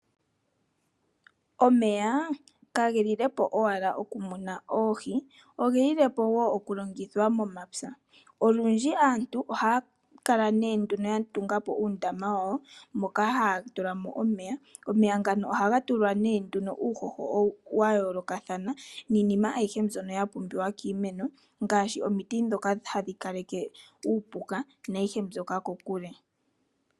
Omeya kaga lile po owala okumuna oohi, oge lile po wo okulongithwa momapya. Olundji aantu ohaya kala ya tunga po uundama moka ya tula omeya, omeya ngano ohaga tulwa nduno uuhoho wa yoolokathana niinima ayihe mbyono ya pumbiwa kiimeno ngaashi omiti ndhono hadhi kaleke uupuka kokule.